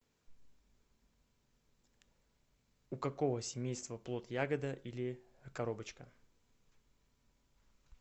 у какого семейства плод ягода или коробочка